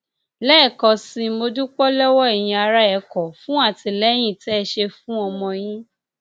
lẹẹkan sí i mo dúpẹ lọwọ ẹyin ará ẹkọ fún àtìlẹyìn tẹ ẹ ṣe fún ọmọ yín